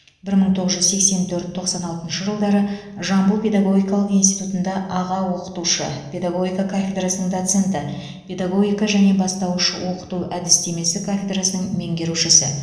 бір мың тоғыз жүз сексен төрт тоқсан алтыншы жылдары жамбыл педагогикалық институтында аға оқытушы педагогика кафедрасының доценті педагогика және бастауыш оқыту әдістемесі кафедрасының меңгерушісі